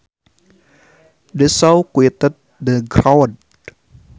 The show quieted the crowd